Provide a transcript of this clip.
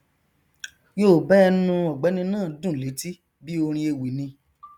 yoòbá ẹnu ọgbẹni náà dùn léti bí orin ewì ni